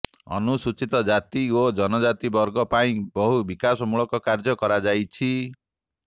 ଅନୁସୂଚିତ ଜାତି ଓ ଜନଜାତି ବର୍ଗଙ୍କ ପାଇଁ ବହୁ ବିକାଶମୂଳକ କାର୍ଯ୍ୟ କରାଯାଇଛି